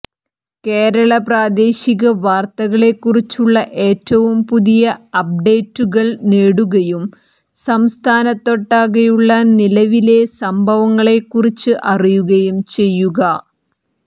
കേരള പ്രാദേശിക വാർത്തകളെക്കുറിച്ചുള്ള ഏറ്റവും പുതിയ അപ്ഡേറ്റുകൾ നേടുകയും സംസ്ഥാനത്തൊട്ടാകെയുള്ള നിലവിലെ സംഭവങ്ങളെക്കുറിച്ച് അറിയുകയും ചെയ്യുക